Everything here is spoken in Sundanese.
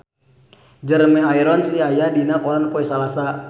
Jeremy Irons aya dina koran poe Salasa